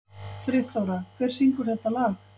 Friðþóra, hver syngur þetta lag?